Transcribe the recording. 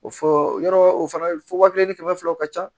O fɔ yɔrɔ o fana fɔ waa kelen ni kɛmɛ fila o ka ca